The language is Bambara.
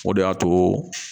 O de y'a to